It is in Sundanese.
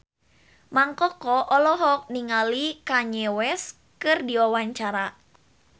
Mang Koko olohok ningali Kanye West keur diwawancara